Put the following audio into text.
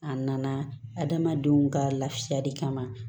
A nana adamadenw ka lafiyali kama